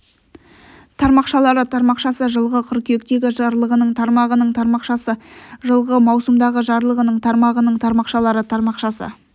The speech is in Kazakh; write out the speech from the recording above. тармақшалары тармақшасы жылғы қыркүйектегі жарлығының тармағының тармақшасы жылғы маусымдағы жарлығының тармағының тармақшалары тармақшасы